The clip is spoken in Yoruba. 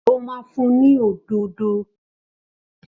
Ó ma fún ni òdòdó